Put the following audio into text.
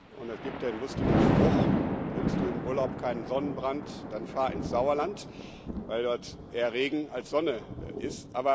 Und es gibt einen lustigen Spruch Willst du im Urlaub keinen Sonnenbrand, dann fahr ins Sauerland weil dort eher Regen als Sonne ist.